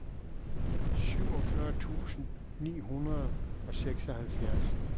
syvogfyrre tusind ni hundrede og seksoghalvfjerds